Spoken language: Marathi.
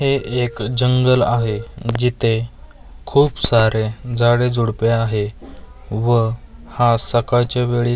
हे एक जंगल आहे जिथे खूप सारे झाडेझुडपे आहे व हा सकाळच्या वेळी --